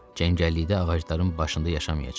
Cəngəllikdə ağacların başında yaşamayacaq.